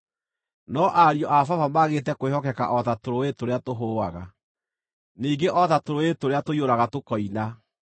No ariũ a baba maagĩte kwĩhokeka o ta tũrũũĩ tũrĩa tũhũaga, ningĩ o ta tũrũũĩ tũrĩa tũiyũraga tũkoina,